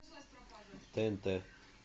тнт